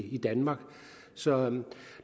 i danmark så